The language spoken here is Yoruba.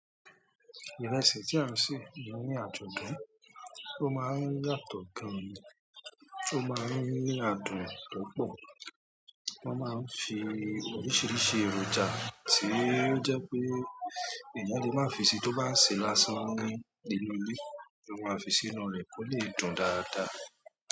Ìrẹsì tí a ń sè ni ó ní adùn gán, tó máa ń ní yàtọ̀ gan, ó máa ń ní adùn púpọ̀. Wọ́n máa ń fi oríṣiríṣi èròjà tí ó jẹ́ pé èèyàn lè má fisí i tó bá sè lásán ní nínú ilé, wọ́n máa ń fi sínú rẹ̀ kó lè dùn dáadáa.